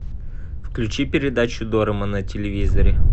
включи передачу дорама на телевизоре